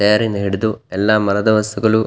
chair ನಿಂದ ಹಿಡಿದು ಎಲ್ಲ ಮರದ ವಸ್ತುಗಳು --